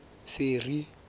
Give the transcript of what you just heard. ferry